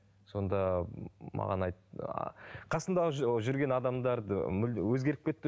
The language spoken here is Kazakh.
сонда маған айтты ааа қасыңдағы жүрген адамдарды мүлде өзгеріп кетті